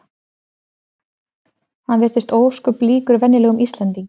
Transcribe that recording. Hann virtist ósköp líkur venjulegum Íslendingi.